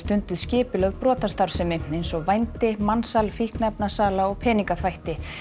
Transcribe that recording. skipulögð brotastarfsemi eins og vændi mansal fíkniefnasala og peningaþvætti